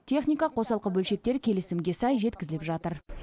техника қосалқы бөлшектер келісімге сай жеткізіліп жатыр